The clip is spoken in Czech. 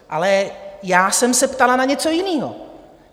Ale já jsem se ptala na něco jiného.